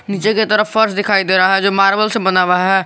नीचे की तरफ फर्श दिखाई दे रहा है जो मार्बल से बना हुआ है।